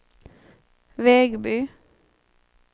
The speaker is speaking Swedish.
Vegby